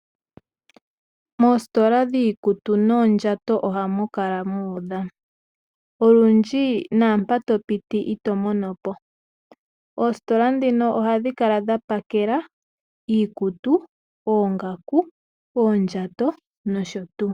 Moositola dhiikutu noondjato ohamu kala muudha, olundji naampa topiti itomonopo oositola ndhino ohadhi kala dhapakela iikutu, oondjato, oongaku nosho tuu.